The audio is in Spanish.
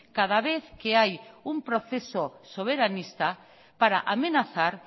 cada vez que hay un proceso soberanista para amenazar